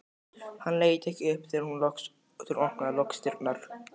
Hann leit ekki upp þegar hún opnaði loks dyrnar.